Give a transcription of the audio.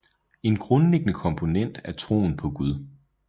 En grundlæggende komponent er troen på Gud